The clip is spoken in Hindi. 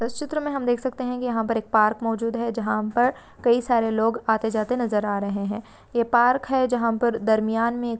चित्र में हम देख सकते है की यहाँ पर एक पार्क मौजूद है जहाँ पर कई सारे लोग आते जाते नजर आ रहे है ये पार्क है जहाँ पर दरम्यान में--